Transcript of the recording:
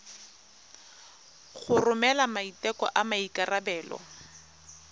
go romela maiteko a maikarebelo